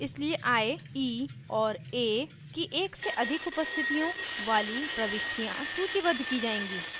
इसलिए i e और a की एक से अधिक उपस्थितियों वाली प्रविष्टियाँ सूचीबद्ध की जाएँगी